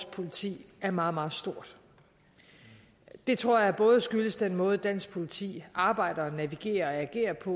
politiet er meget meget stor det tror jeg både skyldes den måde dansk politi arbejder navigerer og agerer på